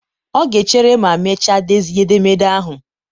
ọ ga-echere ma mechaa dezie edemede ahụ.